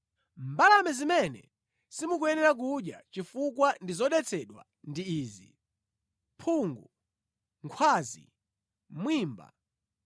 “ ‘Mbalame zimene simukuyenera kudya chifukwa ndi zodetsedwa ndi izi: mphungu, nkhwazi, mwimba,